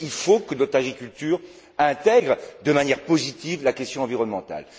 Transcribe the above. Oui, il faut que notre agriculture intègre de manière positive la question environnementale.